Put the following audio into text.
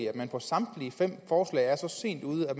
at man på samtlige fem forslag er så sent ude at